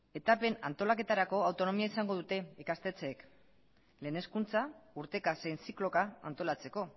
etapen antolaketarako autonomia izango dute ikastetxeek lehen hezkuntza urteka zein zikloka antolatzeko